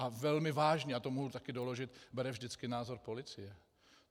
A velmi vážně, a to mohu také doložit, bere vždycky názor policie.